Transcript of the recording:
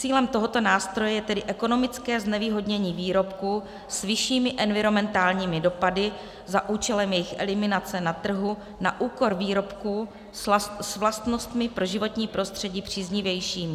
Cílem tohoto nástroje je tedy ekonomické znevýhodnění výrobků s vyššími environmentálními dopady za účelem jejich eliminace na trhu na úkor výrobků s vlastnostmi pro životní prostředí příznivějšími.